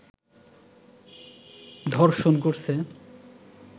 ধর্ষণ করছে